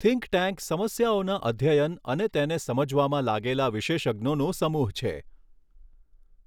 think tank સમસ્યાઓના અધ્યયન અને તેને સમજવામાં લાગેલા વિશેષજ્ઞોનો સમૂહ છે